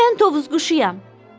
Mən Tovuz quşuyam.